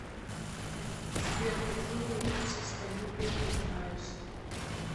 сбер какие честолюбие ты знаешь